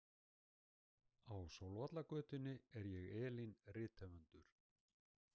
Á Sólvallagötunni er ég Elín rithöfundur.